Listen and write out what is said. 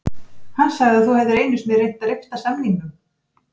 Hann sagði að þú hefðir einu sinni reynt að rifta samningnum